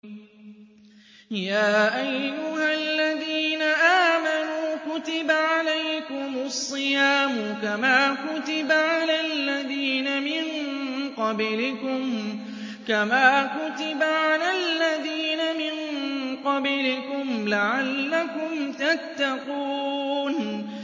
يَا أَيُّهَا الَّذِينَ آمَنُوا كُتِبَ عَلَيْكُمُ الصِّيَامُ كَمَا كُتِبَ عَلَى الَّذِينَ مِن قَبْلِكُمْ لَعَلَّكُمْ تَتَّقُونَ